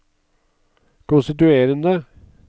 konstituerende